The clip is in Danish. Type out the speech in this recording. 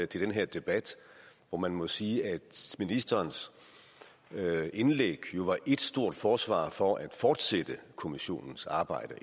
til den her debat hvor man må sige at ministerens indlæg jo var et stort forsvar for at fortsætte kommissionens arbejde